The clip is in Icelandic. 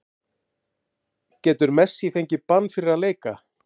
Getur Messi fengið bann fyrir að leika?